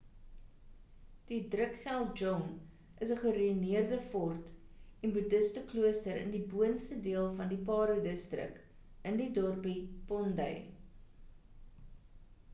die drukgyal dzong is ‘n geruïneerde fort en budhisteklooster in die boonste deel van die paro distrik in die dorpie phondey